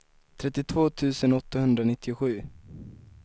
trettiotvå tusen åttahundranittiosju